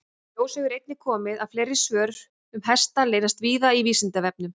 Í ljós hefur einnig komið að fleiri svör um hesta leynast víða á Vísindavefnum.